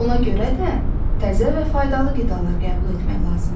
Ona görə də təzə və faydalı qidalar qəbul etmək lazımdır.